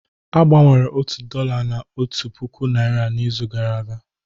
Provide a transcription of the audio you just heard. A gbanwere otu dollar na otu puku naira n'izu gara aga